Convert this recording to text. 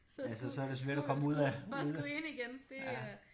Så skulle for at skulle ind igen det er